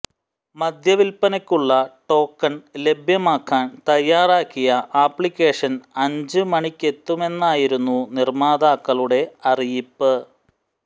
മദ്യ വിൽപനക്കുള്ള ടോക്കൺ ലഭ്യമാക്കാൻ തയാറാക്കിയ ആപ്ലിക്കേഷൻ അഞ്ച് മണിക്കെത്തുമെന്നായിരുന്നു നിർമാതാക്കളുടെ അറിയിപ്പ്